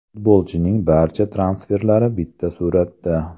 Futbolchining barcha transferlari bitta suratda.